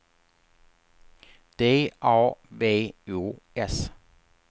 D A V O S